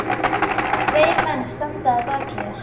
Tveir menn standa að baki þér.